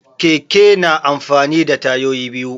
Keke na amfani da tayoyi biyu.